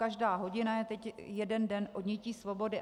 Každá hodina je teď jeden den odnětí svobody.